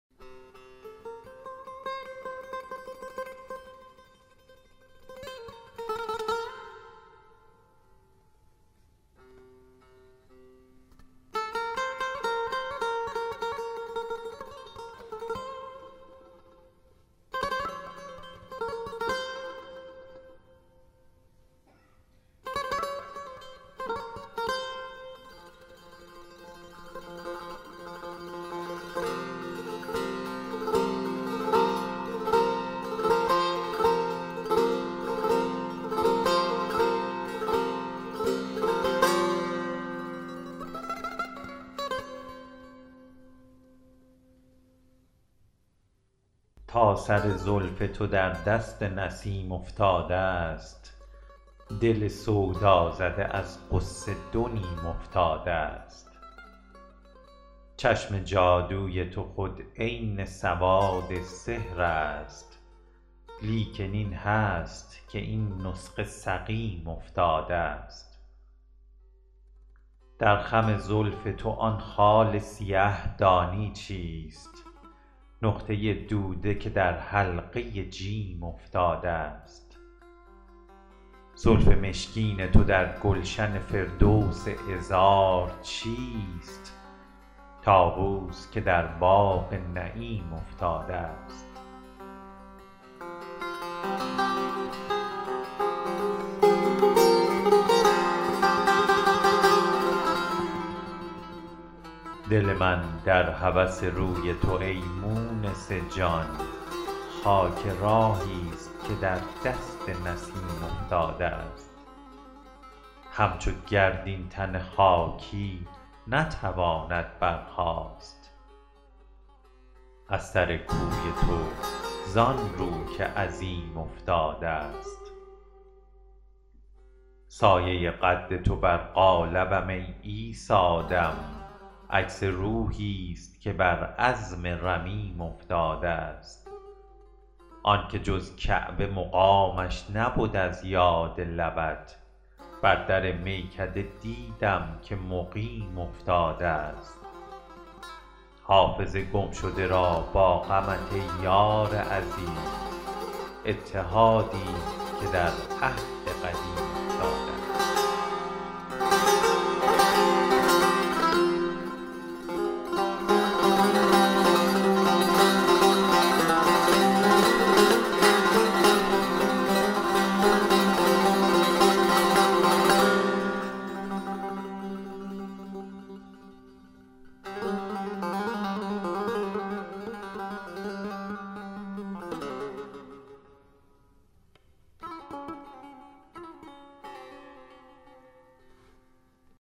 تا سر زلف تو در دست نسیم افتادست دل سودازده از غصه دو نیم افتادست چشم جادوی تو خود عین سواد سحر است لیکن این هست که این نسخه سقیم افتادست در خم زلف تو آن خال سیه دانی چیست نقطه دوده که در حلقه جیم افتادست زلف مشکین تو در گلشن فردوس عذار چیست طاووس که در باغ نعیم افتادست دل من در هوس روی تو ای مونس جان خاک راهیست که در دست نسیم افتادست همچو گرد این تن خاکی نتواند برخاست از سر کوی تو زان رو که عظیم افتادست سایه قد تو بر قالبم ای عیسی دم عکس روحیست که بر عظم رمیم افتادست آن که جز کعبه مقامش نبد از یاد لبت بر در میکده دیدم که مقیم افتادست حافظ گمشده را با غمت ای یار عزیز اتحادیست که در عهد قدیم افتادست